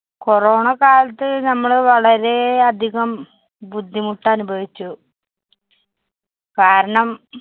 corona കാലത്ത് നമ്മളു വളരെയധികം ബുദ്ധിമുട്ടനുഭവിച്ചു. കാരണം